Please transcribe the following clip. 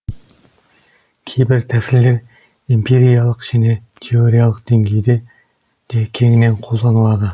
кейбір тәсілдер эмпириялық және теориялық деңгейде де кеңінен қолданылады